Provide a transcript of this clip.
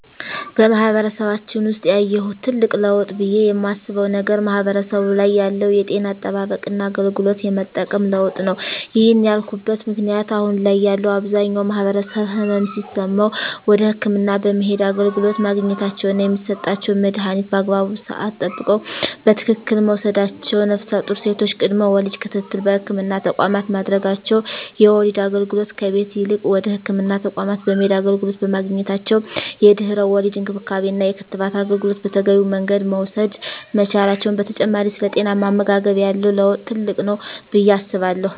በማህበረሰባችን ውሰጥ ያየሁት ትልቅ ለውጥ ብየ የማስበው ነገር ማህበረሰቡ ላይ ያለው የጤና አጠባበቅና አገልግሎት የመጠቀም ለውጥ ነው። ይህን ያልኩበት ምክንያት አሁን ላይ ያለው አብዛኛው ማህበረሰብ ህመም ሲሰማው ወደ ህክምና በመሄድ አገልግሎት ማግኘታቸውና የሚሰጣቸውን መድሀኒት በአግባቡ ስዓት ጠብቀው በትክክል መውሰዳቸው ነፍሰጡር ሴቶች ቅድመ ወሊድ ክትትል በህክምና ተቋማት ማድረጋቸው የወሊድ አገልግሎት ከቤት ይልቅ ወደ ህክምና ተቋማት በመሄድ አገልግሎት በማግኘታቸው የድህረ ወሊድ እንክብካቤና የክትባት አገልግሎት በተገቢው መንገድ መውሰድ መቻላቸው በተጨማሪ ስለ ጤናማ አመጋገብ ያለው ለውጥ ትልቅ ነው ብየ አስባለሁ።